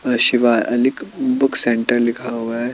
अ Shivalik book centre लिखा हुआ है।